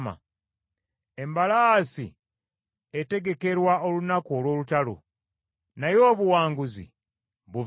Embalaasi etegekerwa olunaku olw’olutalo, naye obuwanguzi buva eri Mukama .